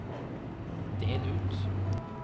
del ut